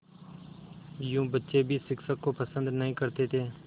यूँ बच्चे भी शिक्षक को पसंद नहीं करते थे